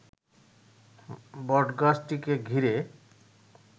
বটগাছটিকে ঘিরে